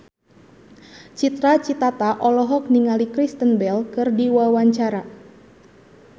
Cita Citata olohok ningali Kristen Bell keur diwawancara